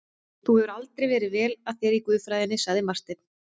Þú hefur aldrei verið vel að þér í guðfræðinni, sagði Marteinn.